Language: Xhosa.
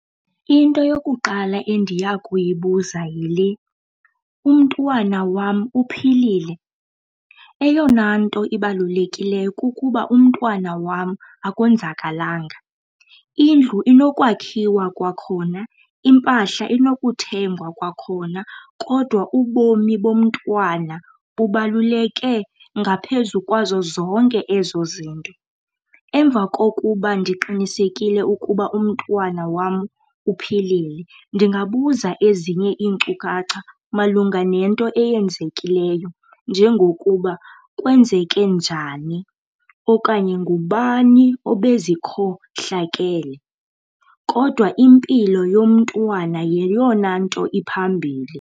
Into yokuqala endiyakuyibuza yile, umntwana wam uphilile. Eyona nto ibalulekileyo kukuba umntwana wam akonzakalanga. Indlu nokwakhiwa kwakhona, iimpahla inokuthengwa kwakhona kodwa ubomi bomntwana bubaluleke ngaphezu ukwazo zonke ezo zinto. Emva kokuba ndiqinisekile ukuba umntwana wam uphilile, ndingabuza ezinye iinkcukacha malunga nento eyenzekileyo njengokuba, kwenzeke njani okanye ngubani obe zikhohlakele. Kodwa impilo yomntwana yeyona nto iphambili.